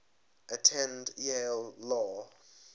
attended yale law